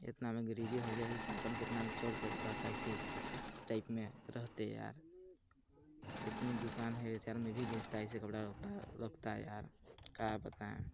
इतना में गरीबी हो गया की का कहु कितना में चोर टाइप में रहते यार इतनी दुकान है बेचारो में भी बेचता ऐसी कपड़ा-वपडा लगता है यार का बताए।